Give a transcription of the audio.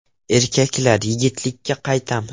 Erkaklar, yigitlikka qaytamiz!